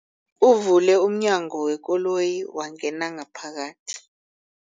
Uvule umnyango wekoloyi wangena ngaphakathi.